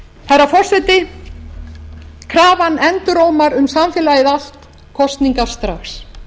herra forseti krafan endurómar um samfélagið allt kosningar strax